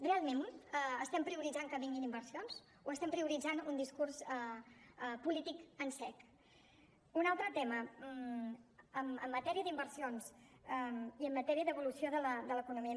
realment estem prioritzant que vinguin inversions o estem prioritzant un discurs polític en sec un altre tema en matèria d’inversions i en matèria d’evolució de l’economia